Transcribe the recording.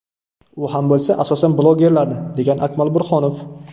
U ham bo‘lsa, asosan, blogerlarni…”, degan Akmal Burhonov.